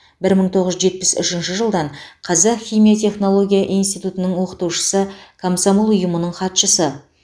бір мың тоғыз жүз жетпіс үшінші жылдан қазақ химия технология институтының оқытушысы комсомол ұйымының хатшысы